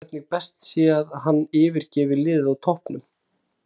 Rætt er um hvernig best sé að hann yfirgefi liðið á toppnum.